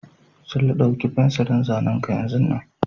Sule, ɗauki fensirin zanen ka yanzun nan!